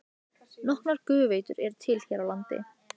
Nokkrar gufuveitur eru til hér á landi.